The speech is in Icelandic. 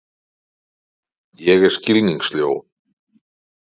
Ég er skilningssljó.